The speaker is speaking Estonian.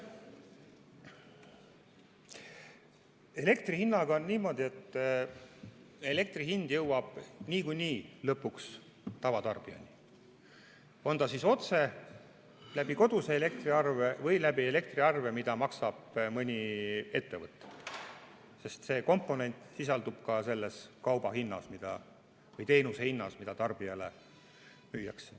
Elektri hinnaga on niimoodi, et elektri hind jõuab niikuinii lõpuks tavatarbijani, kas siis otse koduse elektriarve kaudu või selle elektriarve kaudu, mida maksab mõni ettevõte, sest see komponent sisaldub ka kauba või teenuse hinnas, mida tarbijale müüakse.